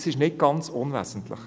Das ist nicht ganz unwesentlich.